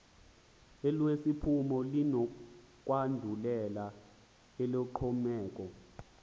elesiphumo linokwandulela eloxhomekeko